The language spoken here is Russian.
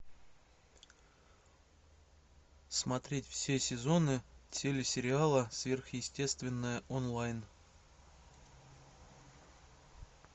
смотреть все сезоны телесериала сверхъестественное онлайн